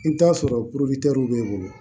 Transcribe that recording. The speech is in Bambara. I bɛ t'a sɔrɔ bɛ bolo